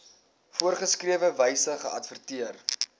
voorgeskrewe wyse geadverteer